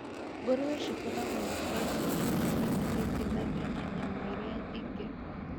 Ngũrũwe cikoragwo na protĩni nyingĩ ĩkĩringithania na nyamũ iria ingĩ